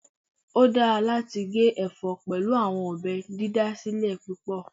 O dara lati ge ẹfọ pẹlu awọn ọbẹ didasilẹ pupọ